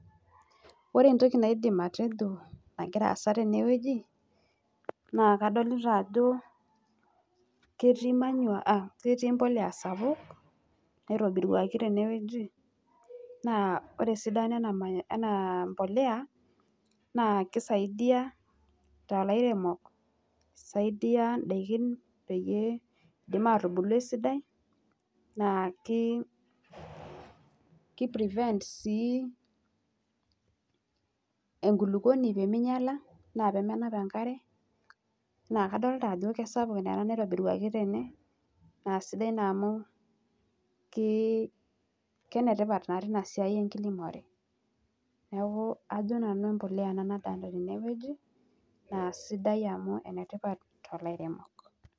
Ore entoki naidim atejo nagira aasa tenewueji naa kadolita ajo ketii manure aa mbolea sapuk naitobirwaki tenewueji naa ore esidano ena mbolea naa keisidaia toolairemok, i saidia ndaiki peyie etumoki atubulu esidai naaki prevent sii enkulukwoni peeminyala enaa pemenap enkare naa kadolita ajo kesapuk naa ena naa sidai naa amu kenetipat naa tena siai e nkiremore. Neeku ajo nanu mbolea ena nadolita tenewueji naa sidai amu enetipat toolairemok